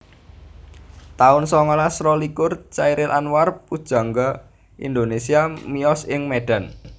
taun songolas rolikur Chairil Anwar pujangga Indonesia miyos ing Medan